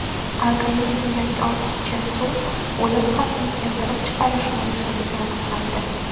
Organizmdagi ortiqcha suv o‘lim xavfini keltirib chiqarishi mumkinligi aniqlandi.